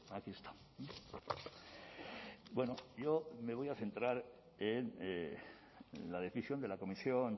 aquí está bueno yo me voy a centrar en la decisión de la comisión